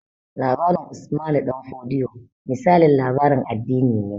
Labarin Usmanu Damfodiyo misalin labarin addini ne